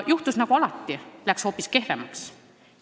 Juhtus nagu alati: läks hoopis kehvemaks.